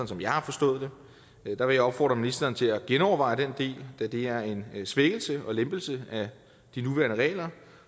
som jeg har forstået det der vil jeg opfordre ministeren til at genoverveje den del da det er en svækkelse og lempelse af de nuværende regler